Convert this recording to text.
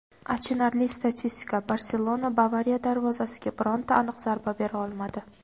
Achinarli statistika: "Barselona" "Bavariya" darvozasiga bironta aniq zarba bera olmadi;.